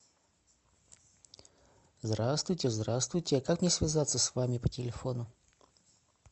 здравствуйте здравствуйте а как мне связаться с вами по телефону